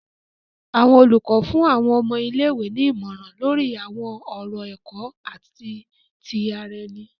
Awọn olùkọ fún àwọn ọmọ ilé-ìwé ní ìmọràn lori awọn ọrọ ẹkọ ati ti ara ẹni.